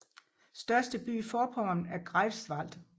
Største by i Forpommern er Greifswald